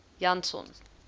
janson